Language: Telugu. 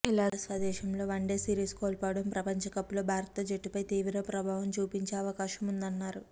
ఇలా స్వదేశంలో వన్డే సీరిస్ కోల్పోవడం ప్రపంచ కప్ లో భారత జట్టుపై తీవ్ర ప్రభావం చూపించే అవకాశముందన్నారు